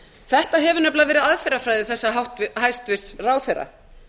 þetta hefur nefnilega verið aðferðafræði þessa hæstvirtur ráðherra